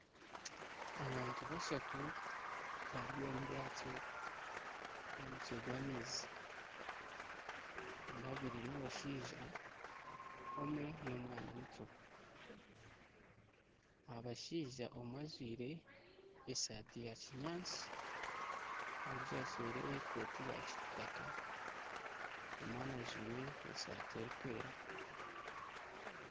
Abantu bashatu bari omu bwato aha mutwe gw'amaizi, babiri n'abashaija omwe n'omwana muto. Abashaija omwe ajwaire esaati ya kinyaatsi ondiijo ajwaire ekooti ya kitaaka. Omwana ajwaire esaati erikwera.